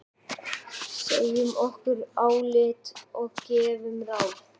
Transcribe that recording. Segjum okkar álit og gefum ráð.